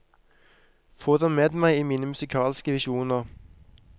Få dem med meg i mine musikalske visjoner.